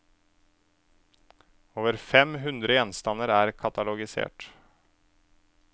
Over fem hundre gjenstander er katalogisert.